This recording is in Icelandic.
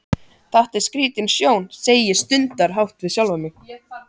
Þetta var skrítin sjón, segi ég stundarhátt við sjálfa mig.